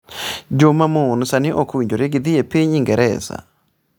Joma mon sani ok owinjore gidhi e piny Ingresa.